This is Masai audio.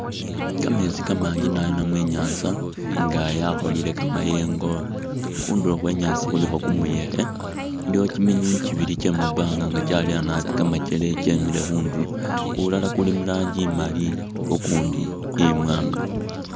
Kameetsi kamanji naabi namwe inyanza nga yakholile kamayengo, khundulo khwe nyanza khulikho kumuyekhe iliwo miminywinywi kibili kyemumbanga nga kyaleya naabi kamakele nga kyemile khundulo, kulala kuli muranji imaali kukundi imwanga